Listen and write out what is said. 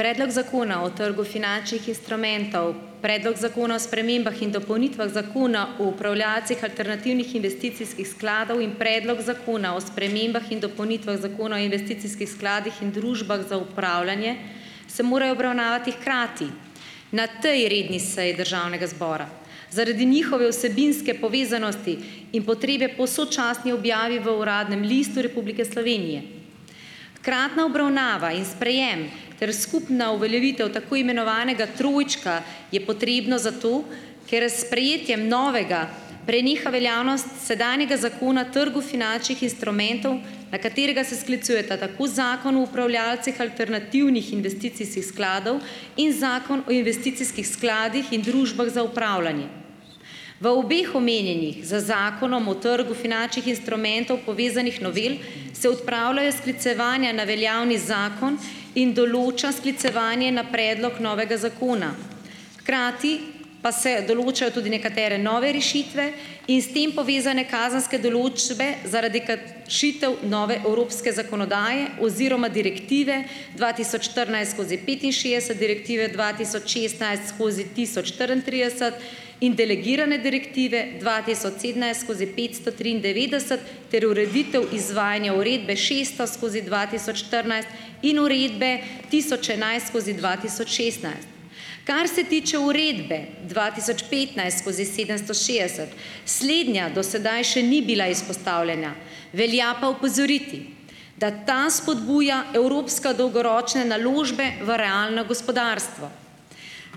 Predlog Zakona o trgu finančnih instrumentov, predlog Zakona o spremembah in dopolnitvah Zakona o upravljalcih alternativnih investicijskih skladov in predlog Zakona o spremembah in dopolnitvah Zakona o investicijskih skladih in družbah za upravljanje, se morajo obravnavati hkrati, na tej redni seji Državnega zbora. Zaradi njihove vsebinske povezanosti in potrebe po sočasni objavi v Uradnem listu Republike Slovenije. Hkratna obravnava in sprejem ter skupna uveljavitev tako imenovanega trojčka je potrebno zato, ker s sprejetjem novega, preneha veljavnost sedanjega Zakona trgu finančnih instrumentov, na katerega se sklicujeta tako Zakon o upravljalcih alternativnih investicijskih skladov in Zakon o investicijskih skladih in družbah za upravljanje. V obeh omenjenih, z Zakonom o trgu finančnih instrumentov povezanih novel, se odpravljajo sklicevanja na veljavni zakon in določa sklicevanje na predlog novega zakona. Hkrati pa se določajo tudi nekatere nove rešitve in s tem povezane kazenske določbe zaradi kat šitev nove evropske zakonodaje oziroma direktive dva tisoč štirinajst skozi petinšestdeset, direktive dva tisoč šestnajst skozi tisoč štiriintrideset in delegirane direktive dva tisoč sedemnajst skozi petsto triindevetdeset ter ureditev izvajanja uredbe šeststo skozi dva tisoč štirinajst in uredbe tisoč enajst skozi dva tisoč šestnajst. Kar se tiče uredbe dva tisoč petnajst skozi sedemsto šest, slednja do sedaj še ni bila izpostavljena, velja pa opozoriti, da ta spodbuja evropska dolgoročne naložbe v realno gospodarstvo.